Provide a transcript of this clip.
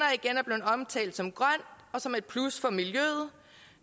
er blevet omtalt som grøn og som et plus for miljøet